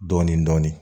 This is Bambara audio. Dɔɔnin dɔɔnin